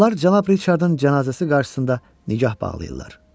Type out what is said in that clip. Onlar cənab Riçardın cənazəsi qarşısında nigah bağlayırlar.